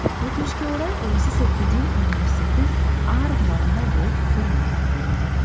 өкінішке орай осы сәтке дейін университеттің арғы жағында болып көрмеппін